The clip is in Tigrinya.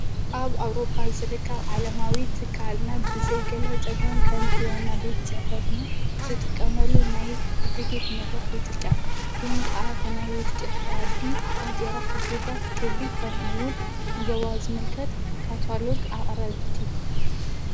ኣብ ኣብሮጳ ዝርቃብ ዓለማዊ ትካልና ብዘይገለ ጸጋም ቀንቲ ይዋና ቤት ጸሕፈስና ዝጥቀመሉ ናይ እድጌት መድረኽ ይጥቀን ግን ከዓ ብናይ ውሽጢ ሕያዲ ባጢራ ሕግታት ግብሪ ኸምኡውን ንዞዋ ዝምልከት ካታሎግ ኣቕረብቲ።